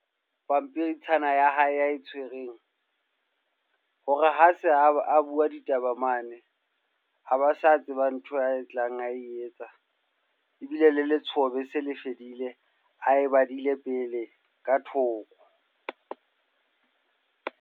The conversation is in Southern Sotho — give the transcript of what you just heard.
Pampitshana ya hae a e tshwereng. Hore ha se a ba a bua ditaba mane, ha ba sa tseba ntho a e tlang ae etsa. Ebile le letshoho be se le fedile, a e badile pele ka thoko.